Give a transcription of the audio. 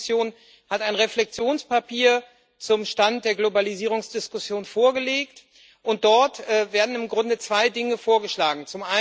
Die EU Kommission hat ein Reflexionspapier zum Stand der Globalisierungsdiskussion vorgelegt, und dort werden im Grunde zwei Dinge vorgeschlagen.